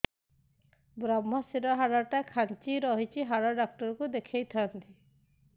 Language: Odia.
ଵ୍ରମଶିର ହାଡ଼ ଟା ଖାନ୍ଚି ରଖିଛି ହାଡ଼ ଡାକ୍ତର କୁ ଦେଖିଥାନ୍ତି